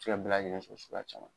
se ka bɛɛ lajɛlen sɔrɔ suguya caman.